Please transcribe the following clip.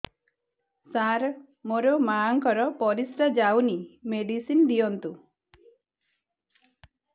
ସାର ମୋର ମାଆଙ୍କର ପରିସ୍ରା ଯାଉନି ମେଡିସିନ ଦିଅନ୍ତୁ